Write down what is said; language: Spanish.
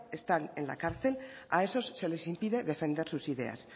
están en la cárcel a esos se les impide defender sus ideas